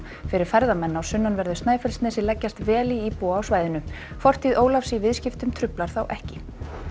fyrir ferðamenn á sunnanverðu Snæfellsnesi leggjast vel í íbúa á svæðinu fortíð Ólafs í viðskiptum truflar þá ekki